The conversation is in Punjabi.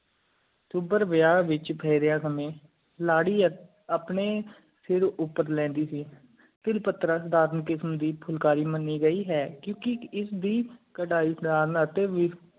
ਸੁਬਾਰ ਵਿਆਹ ਵਿਚ ਫੇਰੀਆ ਹਾਮੀ ਲਾੜੀ ਆਪਣੀ ਸਰ ਉਪਰ ਲੈਂਦੀ ਸੀ ਤਿਲ ਪਾਤਰ ਧਰਮ ਕਿਸਮ ਦੀ ਫੁਲਕਾਰੀ ਮਨੀ ਗਈ ਹੈ ਕ਼ ਕਿ ਇਸ ਦੀ ਕਰੈ ਧਾਰਨ ਅਤਿ ਵੀ